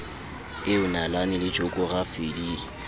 eo nalane le jokorafi di